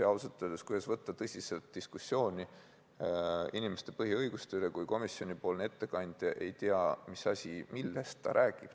Ja ausalt öeldes, kui tõsiselt saab võtta diskussiooni inimeste põhiõiguste üle, kui komisjoni ettekandja ei tea, millest ta räägib.